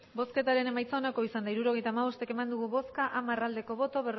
hirurogeita hamabost eman dugu bozka hamar bai